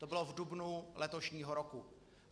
To bylo v dubnu letošního roku.